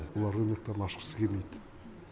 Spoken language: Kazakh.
олар рыноктарын ашқысы келмейді